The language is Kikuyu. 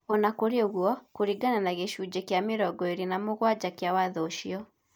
O na kũrĩ ũguo, kũringana na gĩcunjĩ kĩa mĩrongo ĩrĩ na mũgwanja kĩa Watho ũcio,